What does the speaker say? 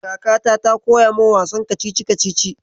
Kakata ta koya min wasan kacici-kacici.